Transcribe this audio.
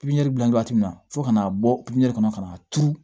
Pipiniyɛri bila waati min na fo ka n'a bɔ pipiniyɛri kɔnɔ ka n'a turu